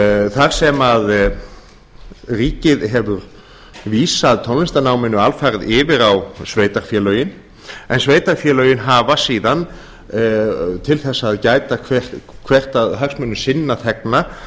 þar sem ríkið hefur vísað tónlistarnáminu alfarið yfir á sveitarfélögin en sveitarfélögin hafa síðan til að gæta hvert að hagsmunum sinna þegna